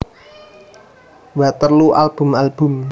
Waterloo album album